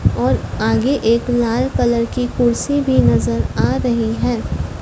और आगे एक लाल कलर कुर्सी भी नजर आ रही है।